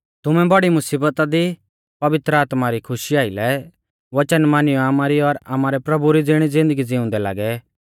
तुमै बौड़ी मुसीबता दी पवित्र आत्मा री खुशी आइलै वचन मानियौ आमारी और आमारै प्रभु री ज़िणी ज़िन्दगी ज़िउंदै लागै